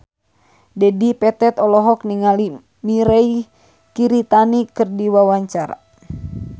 Dedi Petet olohok ningali Mirei Kiritani keur diwawancara